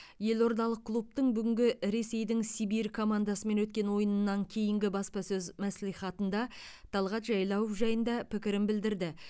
елордалық клубтың бүгінгі ресейдің сибирь командасымен өткен ойыннан кейінгі баспасөз мәслихатында талғат жайлауов жайында пікірін білдірді